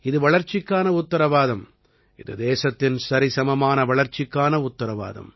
இது வளர்ச்சிக்கான உத்திரவாதம் இது தேசத்தின் சரிசமமான வளர்ச்சிக்கான உத்திரவாதம்